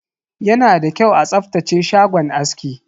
Yana da kyau a tsaftace shagon aski.